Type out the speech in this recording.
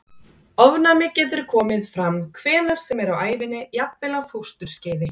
Ofnæmi getur komið fram hvenær sem er á ævinni, jafnvel á fósturskeiði.